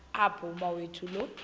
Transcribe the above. apho umawethu lo